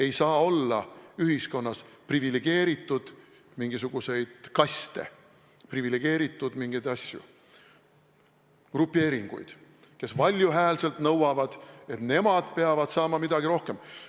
Ei saa olla ühiskonnas mingisuguseid privilegeeritud kaste, privilegeeritud grupeeringuid, kes valjuhäälselt nõuavad, et nemad peavad saama midagi rohkem.